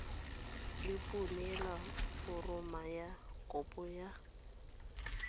iponele foromo ya kopo go